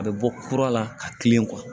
A bɛ bɔ kura la ka kilen